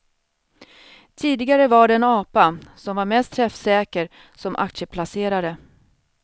Tidigare var det en apa som var mest träffsäker som aktieplacerare.